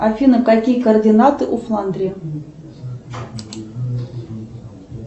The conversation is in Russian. афина какие координаты у фландрии